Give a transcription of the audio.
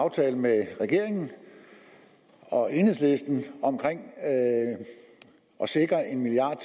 aftale med regeringen og enhedslisten om at sikre en milliard